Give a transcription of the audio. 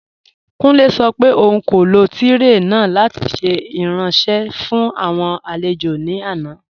Kùnlẹ̀ sọ̀ pé ọ̀un kò lọ tirẹé náà lati ṣẹ̀ iranṣẹ̀ fún awọn alẹ̀jọ̀ ní àná.